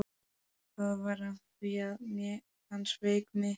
Það var af því að hann sveik mig.